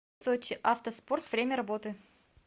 сочи авто спорт время работы